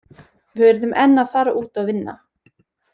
Við urðum enn að fara út og vinna.